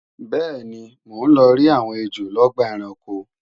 bẹ́ẹ̀ni, mò ń lọrí àwọn ejò lọ́gbà ẹranko